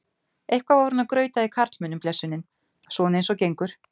Eitthvað var hún að grauta í karlmönnum blessunin, svona eins og gengur.